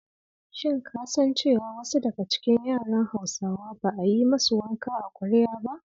Shin ka san cewa wasu daga cikin yaran Hausawa ba a yi ma su wanka a kwarya ba?